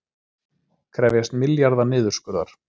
Krefjast milljarða niðurskurðar